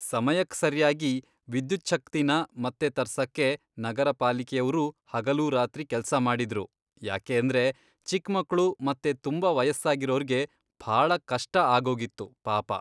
ಸಮಯಕ್ ಸರ್ಯಾಗಿ ವಿದ್ಯುಚ್ಛಕ್ತಿನ ಮತ್ತೆ ತರ್ಸಕ್ಕೆ ನಗರ ಪಾಲಿಕೆಯವ್ರೂ ಹಗಲೂರಾತ್ರಿ ಕೆಲ್ಸ ಮಾಡಿದ್ರು. ಯಾಕೇಂದ್ರೆ ಚಿಕ್ಮಕ್ಳು ಮತ್ತೆ ತುಂಬಾ ವಯಸ್ಸಾಗಿರೋರ್ಗೆ ಭಾಳ ಕಷ್ಟ ಆಗೋಗಿತ್ತು ಪಾಪ.